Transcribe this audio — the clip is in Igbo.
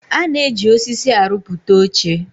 A na-eji osisi aruputa oche